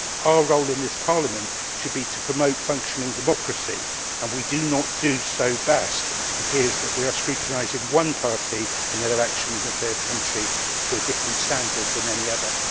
Our role in this Parliament should be to promote functioning democracy, and we do not do so best if it appears that we are scrutinising one party in an election in a third country to a different standard from any other.